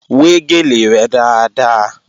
Wẹ́ gèlè rẹ dáadáa!